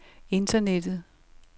internettet